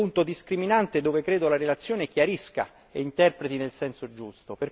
È questo un punto discriminante che la relazione chiarisce e interpreta nel senso giusto.